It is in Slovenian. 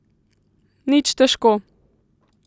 Nič težko.